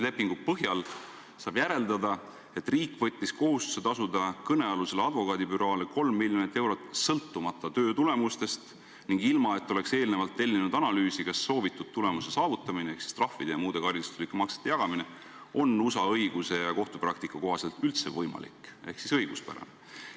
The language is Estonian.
Lepingu põhjal saab järeldada, et riik võttis kohustuse tasuda kõnealusele advokaadibüroole 3 miljonit eurot sõltumata töö tulemustest ning ilma, et oleks eelnevalt tellinud analüüsi, kas soovitud tulemuse saavutamiseks trahvide ja muude karistuslike maksete jagamine on USA õiguse ja kohtupraktika kohaselt üldse võimalik ehk siis õiguspärane.